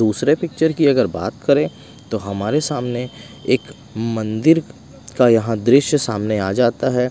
दूसरे पिक्चर की अगर बात करें तो हमारे सामने एक मंदिर का यहां दृश्य सामने आ जाता है।